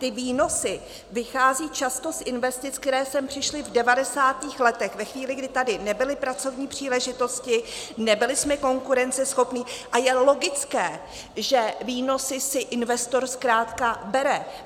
Ty výnosy vychází často z investic, které sem přišly v devadesátých letech, ve chvíli, kdy tady nebyly pracovní příležitosti, nebyli jsme konkurenceschopní, a je logické, že výnosy si investor zkrátka bere.